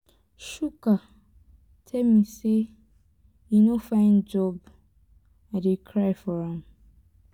chuka tell me say he no find job i dey cry for am.